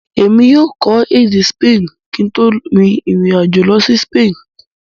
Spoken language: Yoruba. Èmi yóò kò èdè Spani kí n tó rin ìrìn àjò lọ si Spain.